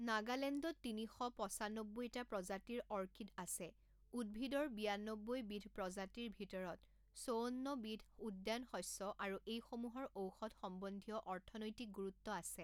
নাগালেণ্ডত তিনি শ পঁচানব্বৈটা প্ৰজাতিৰ অৰ্কিড আছে উদ্ভিদৰ বিয়ান্নব্বৈ বিধ প্ৰজাতিৰ ভিতৰত চৌৱান্ন বিধ উদ্যানশস্য আৰু এইসমূহৰ ঔষধ সম্বন্ধীয় অৰ্থনৈতিক গুৰুত্ব আছে।